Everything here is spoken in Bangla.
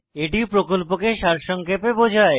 এটি প্রকল্পকে সারসংক্ষেপে বোঝায়